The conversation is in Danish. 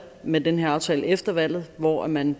med den her aftale efter valget hvor man